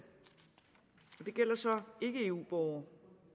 det gælder så ikke eu borgere